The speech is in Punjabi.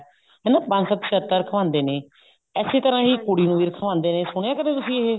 ਹਨਾ ਪੰਜ ਸੱਤ ਸ਼ਰਤਾ ਰੱਖਵਾਉਂਦੇ ਨੇ ਇਸੇ ਤਰ੍ਹਾਂ ਹੀ ਕੁੜੀ ਨੂੰ ਵੀ ਰੱਖਵਾਉਂਦੇ ਨੇ ਸੁਣੀਆਂ ਤੁਸੀਂ ਕਦੇ ਇਹ